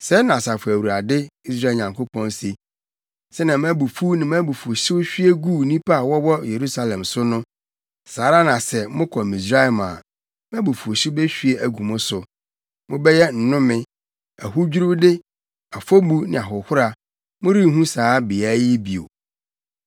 Sɛɛ na Asafo Awurade, Israel Nyankopɔn se, ‘Sɛnea mʼabufuw ne mʼabufuwhyew hwie guu nnipa a wɔwɔ Yerusalem so no, saa ara na sɛ, mokɔ Misraim a, mʼabufuwhyew behwie agu mo so. Mobɛyɛ nnome, ahodwiriwde, afɔbu ne ahohora; morenhu saa beae yi bio.’